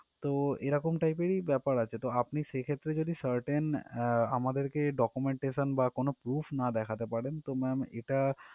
তো এরকম type এর ই ব্যাপার আছে তো আপনি সেক্ষেত্রে যদি certain আহ আমাদেরকে documentation বা কোনো proof না দেখাতে পারেন তো ma'am এটা